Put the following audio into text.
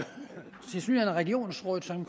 regionsrådet som